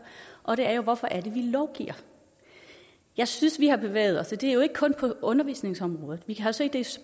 og det er hvorfor det er vi lovgiver jeg synes vi har bevæget os det er jo ikke kun på undervisningsområdet vi har set det